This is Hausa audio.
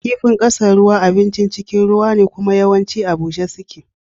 Kifin ƙasan ruwa abincin cikin ruwa ne kuma yawancin a bushe suke.